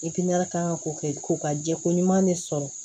kan ka ko kɛ ko ka jɛ ko ɲuman de sɔrɔ